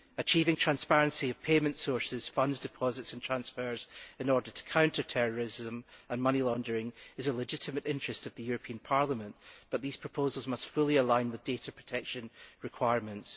Achieving transparency on payment sources, fund deposits and transfers, in order to counter terrorism and money laundering, is a legitimate interest of the European Parliament, but the proposals must be fully in line with data protection requirements.